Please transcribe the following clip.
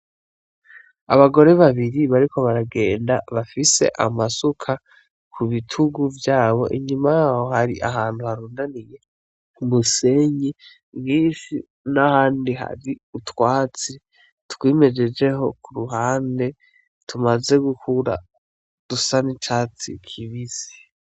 Abagore babiri bariko baragenda bafise amasuka ku bitugu vyabo, Inyuma yaho hari ahantu harundaniye umusenyi mwinshi n'ahandi hari utwatsi twimejejeho ku ruhande, tumaze gukura dusa n'icatsi kibisi.